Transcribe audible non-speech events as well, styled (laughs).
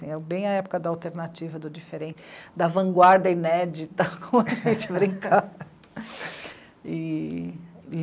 É bem a época da alternativa, do diferen... da vanguarda inédita, (laughs) como a gente brincava. E...